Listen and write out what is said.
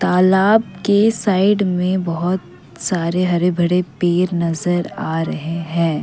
तालाब के साइड मे बहुत सारे हरे भरे पेड़ नज़र आ रहे हैं।